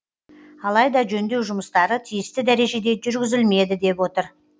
алайда жөндеу жұмыстары тиісті дәрежеде жүргізілмеді деп отыр